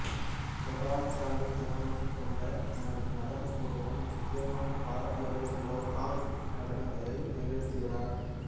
ஜகார்த்தாவை தளமாகக் கொண்ட தனது நடனக் குழுவுடன் முக்கியமாக பாரம்பரிய லெகாங் நடனங்களை நிகழ்த்துகிறார்